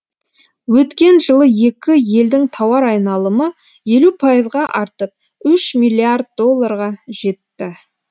өткен жылы екі елдің тауар айналымы елу пайызға артып үш миллиард долларға жетті